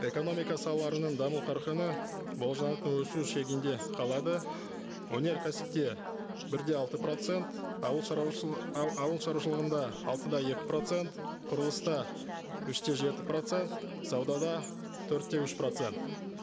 экономика салаларының даму қарқыны болжанатын өсу шегінде қалады өнеркәсіпте бір де алты процент ауыл шаруашылығында алты да екі процент құрылыста үш те жеті процент саудада төрт те үш процент